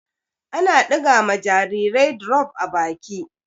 Ana ɗiga ma jarirai drof a baki.